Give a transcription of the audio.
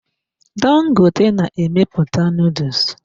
Dangote na-emepụta nuduls.